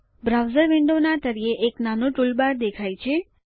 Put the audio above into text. browser વિન્ડોના તળિયે એક નાનું ટૂલબાર દેખાય છે